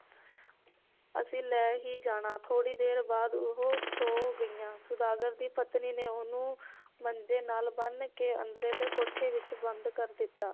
ਅਸੀਂ ਲੈ ਹੀ ਜਾਣਾ ਥੋੜੀ ਦੇਰ ਬਾਅਦ ਉਹ ਸੋਂ ਗਈਆਂ ਸੌਦਾਗਰ ਦੀ ਪਤਨੀ ਨੇ ਉਹਨੂੰ ਮੰਜੇ ਨਾਲ ਬੰਨ ਕੇ ਅੰਦਰਲੇ ਕੋਠੇ ਵਿਚ ਬੰਦ ਕਰ ਦਿੱਤਾ